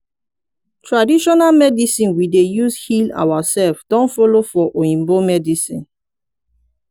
traditional medicine we dey use heal ourself don follow for oyibo medicine